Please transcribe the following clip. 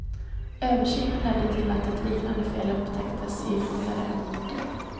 Översynen ledde till att ett liknande fel upptäcktes i ytterligare en motor.